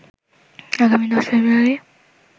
আগামী ১০ ফ্রেব্রয়ারি